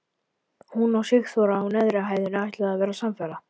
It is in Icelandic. Hún og Sigþóra á neðri hæðinni ætluðu að vera samferða.